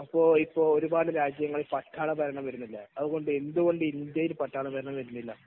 അതുപോലെ ഒരുപാടു രാജ്യങ്ങളിൽ പട്ടാളഭരണം വരുന്നില്ലേ . അതുപോലെ എന്തുകൊണ്ട് ഇന്ത്യയിൽ എന്തുകൊണ്ട് പട്ടാള ഭരണം വരുന്നില്ല